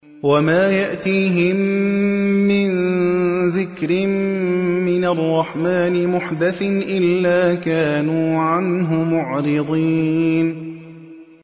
وَمَا يَأْتِيهِم مِّن ذِكْرٍ مِّنَ الرَّحْمَٰنِ مُحْدَثٍ إِلَّا كَانُوا عَنْهُ مُعْرِضِينَ